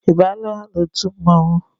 I baala n'otu mmọnwụ?